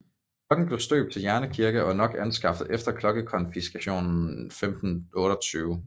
Klokken blev støbt til Jerne Kirke og er nok anskaffet efter klokkekonfiskationen 1528